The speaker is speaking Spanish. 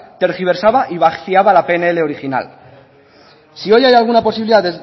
tergiversaba y vaciaba la pnl original si hoy hay alguna posibilidad